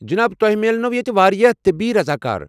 جناب، تۄہہ میلنو٘ ییٚتہ واریاہ طبی رضاکار۔